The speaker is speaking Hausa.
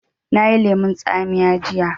Na yi lemun tsamiya jiya